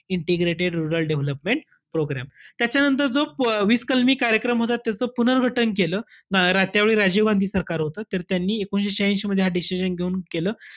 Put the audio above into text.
Integrated rural development program. त्याच्यानंतर जो वि~ वीस कलमी कार्यक्रम होता. त्याचं पुनर्घटन केलं. त्यावेळी राजीव गांधी सरकार होतं. त्यांनी एकोणीशे श्याह्यांशी मध्ये हा decision घेऊन केलं.